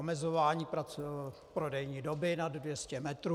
Omezování prodejní doby nad 200 metrů.